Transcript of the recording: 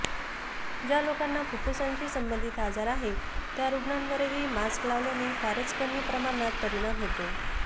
ज्या लोकांना फुफ्फुसांशी संबंधित आजार आहेत त्या रुग्णांवरही मास्क लावल्याने फारच कमी प्रमाणात परिणाम होतो